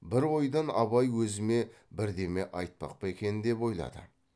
бір ойдан абай өзіме бірдеме айтпақ па екен деп ойлады